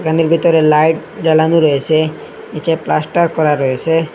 ঘরের ভেতরে লাইট জ্বালানো রয়েছে নীচে প্লাস্টার করা রয়েছে।